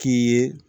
K'i ye